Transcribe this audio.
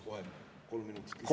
Paluks kohe kolm minutit lisaaega ka.